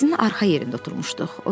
Taksinin arxa yerində oturmuşduq.